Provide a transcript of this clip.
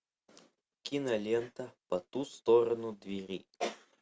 кинолента по ту сторону двери